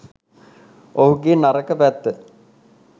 ඔහුගේ නරක පැත්ත